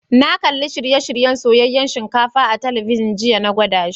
Na kalli shirye-shiryen soyayen shinkafa a'telibijin jiya, n'na gwada shi.